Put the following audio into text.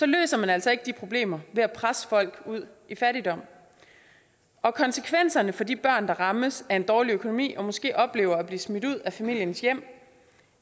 løser man altså ikke de problemer ved at presse folk ud i fattigdom og konsekvenserne for de børn der rammes af en dårlig økonomi og måske oplever at blive smidt ud af familiens hjem